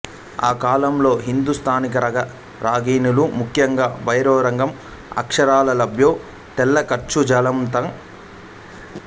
ఆ కాలంలో హిందూస్థానీ రాగ రాగినీలు ముఖ్యంగా భైరవీ రాగం అక్షరాలా లఖ్నో తెల్ల ఖర్బూజాలంత జనరంజకాలు